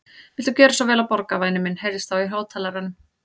Viltu gjöra svo vel að borga, væni minn heyrðist þá í hátalaranum.